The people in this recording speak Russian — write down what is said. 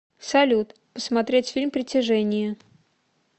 салют посмотреть фильм притяжение